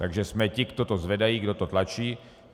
Takže jsme ti, co to zvedají, kdo to tlačí.